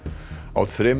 á þremur